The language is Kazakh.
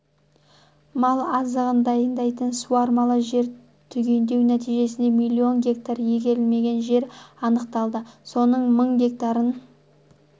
мал азығын дайындайтын суармалы жер түгендеу нтижесінде миллион гектар игерілмеген жер анықталды соның мың гектарын